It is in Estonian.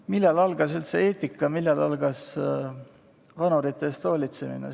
Millal algas üldse eetika, millal algas vanurite eest hoolitsemine?